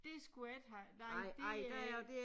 Det skulle jeg ikke have nej det øh